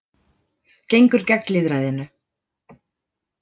Gengur gegn lýðræðinu